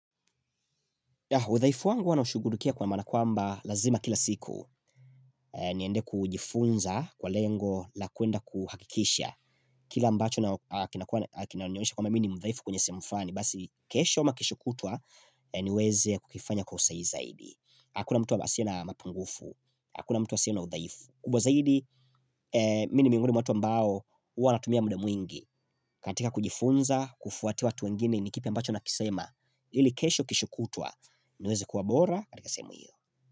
Udhaifu wangu huwa naushughulikia kwa maana kwamba lazima kila siku niende kujifunza kwa lengo la kuenda kuhakikisha. Kila ambacho na kinanionesha kwamba mi ni mdhaifu kwenye sehemu fulani basi kesho ama kesho kutwa niweze kukifanya kwa usahihi zaidi. Hakuna mtu asiye na mapungufu. Hakuna mtu asiye na udhaifu. Kubwa zaidi, mi ni miongoni mwa watu ambao, huwa wanatumia muda mwingi. Katika kujifunza, kufuatia watu wengine, ni kipi ambacho nakisema. Ili kesho kesho kutwa. Niweze kuwa bora, katika sehemu hiyo.